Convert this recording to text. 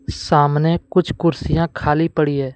सामने कुछ कुर्सियां खाली पड़ी हैं।